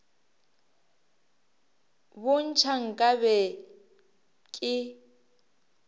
bo ntšha nka be ke